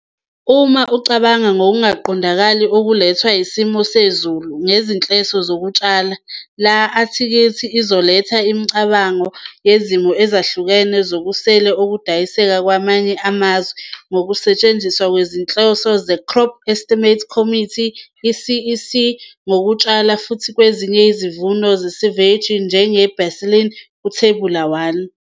Uma ucabanga ngokungaqondakali okulethwa yisimo sezulu ngezinhloso zokutshala, le-athikhili izoletha imicabango yezimo ezahlukene zokusele okudayiseka kwamanye amazwe ngokusetshenziswa kwezinhloso ze-crop estimate's committee, i-CEC, ngokutshala futhi kwenziwe isivuno seyi-avareji njenge-baseline, kuThebula 1.